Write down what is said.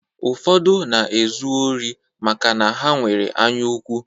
Ụfọdụ na-ezu ori maka na ha nwere anyaukwu.